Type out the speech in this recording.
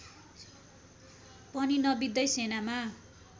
पनि नबित्दै सेनामा